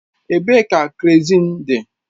Ebee ka kerọzin dị?